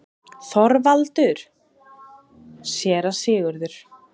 ÞORVALDUR: Séra Sigurður!